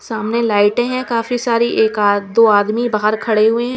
सामने लाइटे है काफी सारी एक दो आदमी बाहर खडे हुए है।